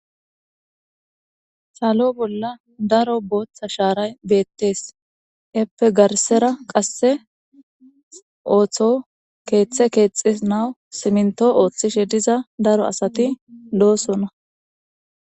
salo bolla daro booththa shaaray beettees eppe garsera qasse ooththo keeththe keexi nawu siminto ooththishe diza daro asati loosona